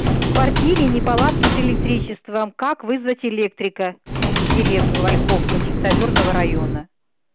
в квартире неполадки с электричеством как вызвать электрика в деревню ольховка чистоозерного района